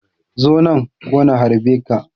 Zo nan ko na harbe ka.